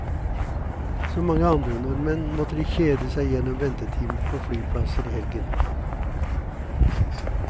Som mange andre nordmenn måtte de kjede seg gjennom ventetimer på flyplasser i helgen.